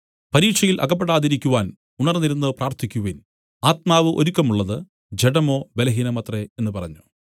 പരീക്ഷയിൽ അകപ്പെടാതിരിക്കുവാൻ ഉണർന്നിരുന്നു പ്രാർത്ഥിക്കുവിൻ ആത്മാവ് ഒരുക്കമുള്ളത് ജഡമോ ബലഹീനമത്രേ എന്നു പറഞ്ഞു